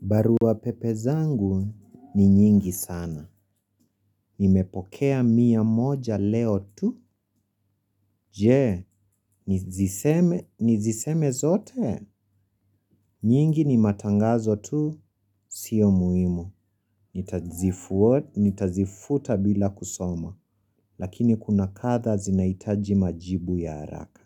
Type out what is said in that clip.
Barua pepe zangu ni nyingi sana. Nimepokea mia moja leo tu. Je, niziseme zote. Nyingi ni matangazo tu, sio muhimu. Nitazifuta bila kusoma. Lakini kuna kadhaa zinahitaji majibu ya haraka.